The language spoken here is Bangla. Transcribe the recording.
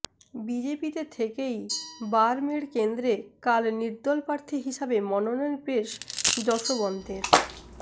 বিজেপিতে থেকেই বারমেড় কেন্দ্রে কাল নির্দল প্রার্থী হিসাবে মনোনয়ন পেশ জশবন্তের